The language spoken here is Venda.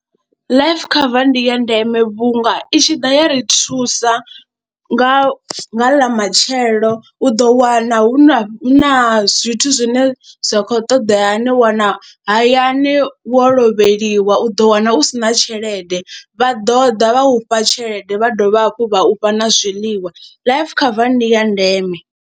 ḽLife cover ndi ya ndeme vhunga i tshi ḓa ya ri thusa nga nga a matshelo u do wana hu na hu na zwithu zwine zwa khou ṱoḓea hani wana hayani wo lovheliwa u ḓo wana u si na tshelede vha ḓo ḓa vha u fha tshelede, vha dovha hafhu vha u fha na zwiḽiwa life cover ndi ya ndeme.